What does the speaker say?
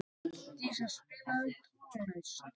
Dísa, spilaðu tónlist.